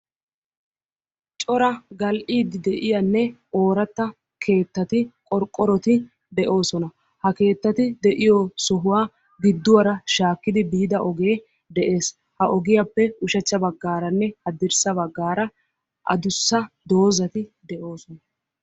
Cora gal'id de'iyaanne ooratta keettati qorqqorotti de'ossona ha keettatti de'yoo sohuwaa giduwara shaakkidi biidda ogee de'es. Ha ogiyappe ushshacha bagaranne hadirssa baggara addussa doozatti de'oosona.